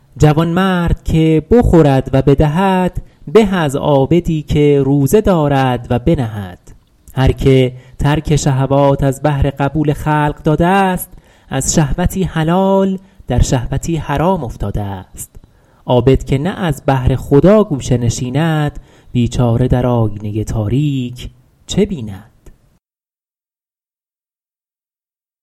جوانمرد که بخورد و بدهد به از عابدی که روزه دارد و بنهد هر که ترک شهوات از بهر قبول خلق داده است از شهوتی حلال در شهوتی حرام افتاده است عابد که نه از بهر خدا گوشه نشیند بیچاره در آیینه تاریک چه بیند